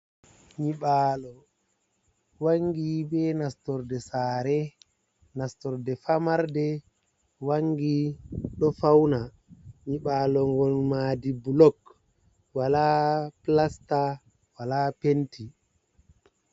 Nyiɓaalo wangi be nastorde saare, nastorde famarde wangi, ɗo fauna nyiɓaalo ngol maadi blok, wola plasta, wola penti.